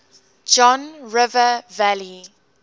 john river valley